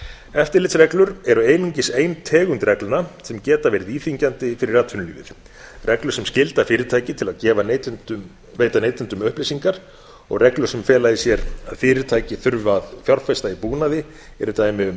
eftirlitsreglur eru einungis ein tegund reglna sem geta verið íþyngjandi fyrir atvinnulífið reglur sem skylda fyrirtæki til að veita neytendum upplýsingar og reglur sem fela í sér að fyrirtæki þurfi að fjárfesta í búnaði eru dæmi um